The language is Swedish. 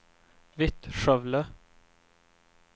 Vittskövle